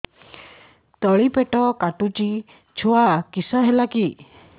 ତଳିପେଟ କାଟୁଚି ଛୁଆ କିଶ ହେଲା କି